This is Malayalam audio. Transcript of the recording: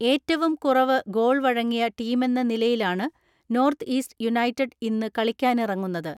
ഏറ്റുവും കുറവ് ഗോൾ വഴങ്ങിയ ടീമെന്ന നിലയിലാണ് നോർത്ത് ഈസ്റ്റ് യുണൈറ്റഡ് ഇന്ന് കളിക്കാനിറങ്ങറുന്നത്.